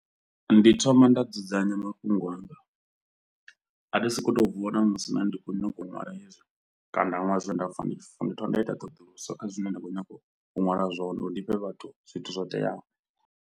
Ndi thoma nda dzudzanya mafhungo anga, a thi sokou tou vuwa ṋamusi nda ndi khou nyago u ṅwala hezwi kana nda ṅwala zwine nda pfha ndi funa ndi thoma nda ita ṱhoḓuluso kha zwine nda khou nyanga u ṅwala zwone uri ndi fhe vhathu zwithu zwo teaho.